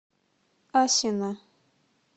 асино